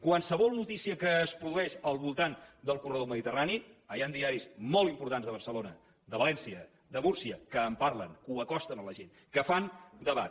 qualsevol notícia que es produeix al voltant del corredor mediterrani ara hi han diaris molt importants de barcelona de valència de múrcia que en parlen que ho acosten a la gent que fan debat